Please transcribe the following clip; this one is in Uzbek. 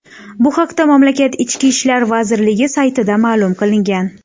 Bu haqda mamlakat Ichki ishlar vazirligi saytida ma’lum qilingan .